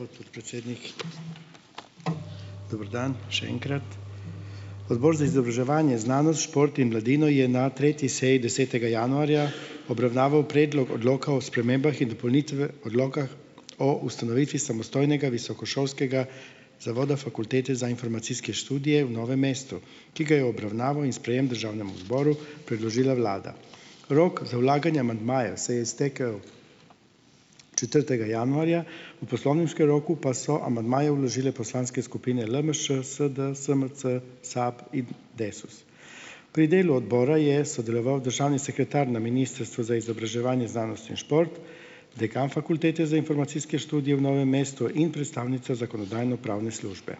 Hvala, gospod podpredsednik. Dober dan še enkrat. Odbor za izobraževanje, znanost, šport in mladino je na tretji seji, desetega januarja obravnaval predlog Odloka o spremembah in Odloka o ustanovitvi samostojnega visokošolskega zavoda Fakultete za informacijske študije v Novem mestu, ki ga je obravnaval in sprejem državnemu zboru predložila vlada. Rok za vlaganje amandmajev se je iztekel. Četrtega januarja, v poslovniškem roku, pa so amandmaje vložile poslanske skupine LMŠ, SS, SMC, SAB in Desus. Pri delu odbora je sodeloval državni sekretar na Ministrstvu za izobraževanje, znanost in šport, dekan Fakultete za informacijske študije v Novem mestu in predstavnica Zakonodajno-pravne službe.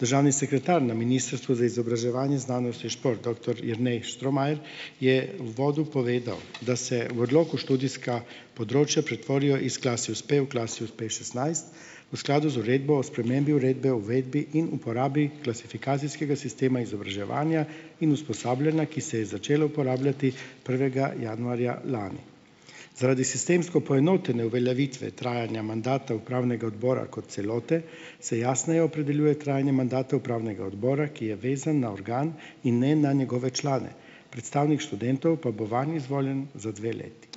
Državni sekretar na Ministrstvu za izobraževanje, znanost in šport, doktor Jernej Štromajer je uvodu povedal, da se v odloku študijska področja pretvorijo iz Klasius P v Klasius P šestnajst v skladu z Uredbo o spremembi uredbe o uvedbi in uporabi klasifikacijskega sistema izobraževanja in usposabljanja, ki se je začelo uporabljati prvega januarja lani. Zaradi sistemsko poenotene uveljavitve trajanja mandata Upravnega odbora kot celote se jasneje opredeljuje trajanje mandata upravnega odbora, ki je vezan na organ in ne na njegove člane. Predstavnik študentov pa bo vanj izvoljen za dve leti.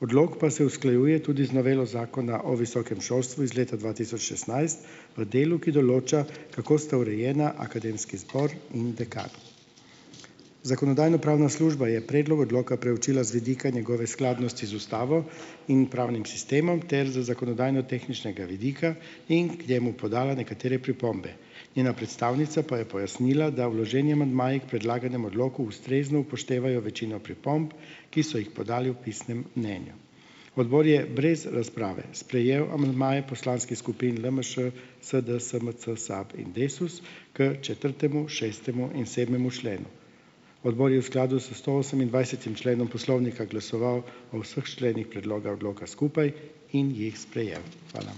Odlok pa se usklajuje tudi z novelo Zakona o visokem šolstvu iz leta dva tisoč šestnajst v delu, ki določa, kako sta urejena akademski zbor in dekan. Zakonodajno-pravna služba je predlog odloka preučila z vidika njegove skladnosti z ustavo in pravnim sistemom ter z zakonodajnotehničnega vidika in k njemu podala nekatere pripombe. Njena predstavnica pa je pojasnila, da vloženi amandmaji k predlaganem odloku ustrezno upoštevajo večino pripomb, ki so jih podali v pisnem mnenju. Odbor je brez razprave sprejel amandmaje poslanskih skupin LMŠ, SD, SMC, SAB in Desus k četrtemu, šestemu in sedmemu členu. Odbor je v skladu s stoosemindvajsetim členom poslovnika glasoval o vseh členih predloga odloka skupaj in jih sprejel. Hvala.